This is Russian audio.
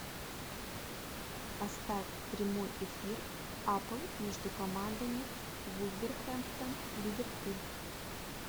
поставь прямой эфир апл между командами вулверхэмптон ливерпуль